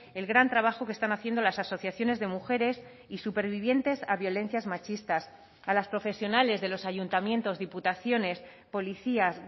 el gran trabajo que están haciendo las asociaciones de mujeres y supervivientes a violencias machistas a las profesionales de los ayuntamientos diputaciones policías